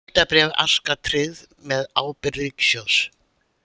Skuldabréf Aska tryggð með ábyrgð ríkissjóðs